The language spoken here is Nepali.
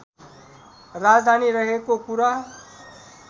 राजधानी रहेको कुरा